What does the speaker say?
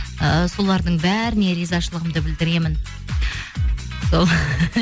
ыыы солардың бәріне ризашылығымды білдіремін сол